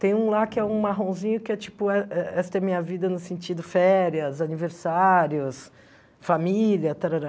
Tem um lá que é um marronzinho que é tipo eh Esta é Minha Vida no sentido férias, aniversários, família, tarará.